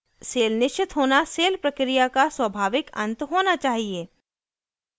cell निश्चित होना cell प्रक्रिया का स्वभाविक अंत होना चाहिए